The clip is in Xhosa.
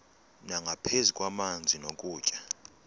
nangaphezu kwamanzi nokutya